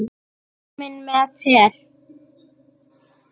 Kominn með her!